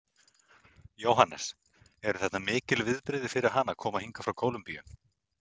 Jóhannes: Eru þetta mikil viðbrigði fyrir hana að koma hingað frá Kólumbíu?